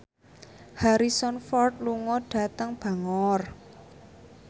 Harrison Ford lunga dhateng Bangor